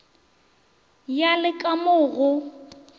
ya le ka mo go